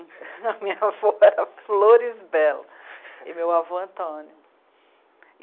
A minha avó era Floresbella, e meu avô Antônio.